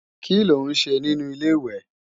Kí ló ń ṣe nínu Ilé-ìwẹ̀?